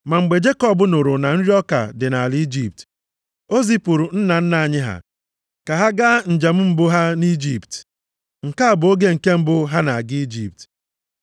Ma mgbe Jekọb nụrụ na nri ọka dị nʼala Ijipt, o zipụrụ nna nna anyị ha ka ha gaa njem mbụ ha nʼIjipt. Nke a bụ oge nke mbụ ha na-aga Ijipt.